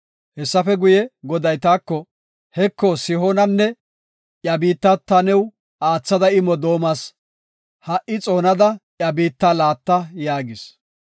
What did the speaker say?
Hessafe guye Goday taako, “Heko, Sihoonanne iya biitta ta new aathada immo doomas; ha77i xoonada iya biitta laatta” yaagis.